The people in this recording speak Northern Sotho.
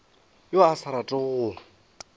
yo a sa ratego go